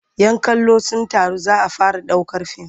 "Yan kallo sun taru za a fara ɗaukar fim.